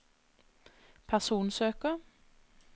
personsøker